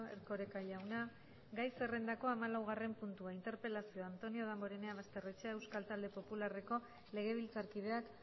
erkoreka jauna gai zerrendako hamalaugarren puntua interpelazioa antonio damborenea basterrechea euskal talde popularreko legebiltzarkideak